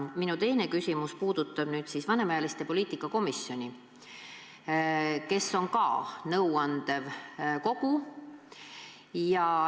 Minu teine küsimus puudutab vanemaealiste poliitika komisjoni, mis on ka nõuandev kogu.